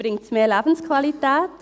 Bringt es mehr Lebensqualität?